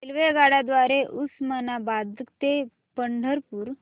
रेल्वेगाड्यां द्वारे उस्मानाबाद ते पंढरपूर